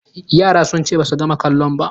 Yaran sun ce ba su gama kalon ba